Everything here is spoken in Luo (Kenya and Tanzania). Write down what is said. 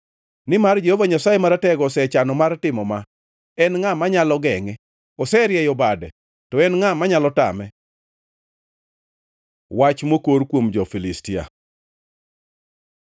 Nimar Jehova Nyasaye Maratego osechano mar timo ma, en ngʼa manyalo gengʼe? Oserieyo bade, to en ngʼa manyalo tame? Wach mokor kuom jo-Filistia